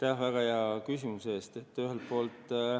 Aitäh väga hea küsimuse eest!